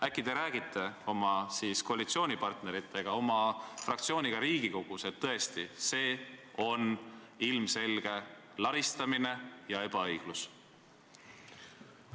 Äkki te räägite oma koalitsioonipartneritega, oma fraktsiooniga Riigikogus, et tõesti, see on ilmselge laristamine ja ebaõiglus?